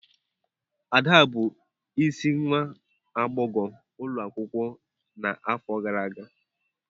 Ada bụ isi nwa agbọghọ ulo akwukwo nʻafọ gara aga.